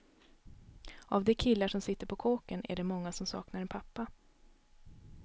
Av de killarna som sitter på kåken är det många som saknar en pappa.